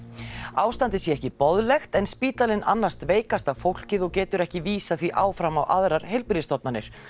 ástandið sé ekki boðlegt en spítalinn annast veikasta fólkið og getur ekki vísað því áfram á aðrar heilbrigðisstofnanir